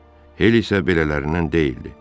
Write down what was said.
Hel isə belələrindən deyildi.